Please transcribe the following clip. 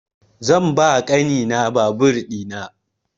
Zan ba wa ƙani na babur ina